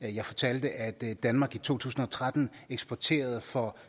og jeg fortalte at danmark i to tusind og tretten eksporterede for